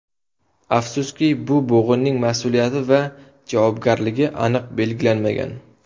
Afsuski, bu bo‘g‘inning mas’uliyati va javobgarligi aniq belgilanmagan.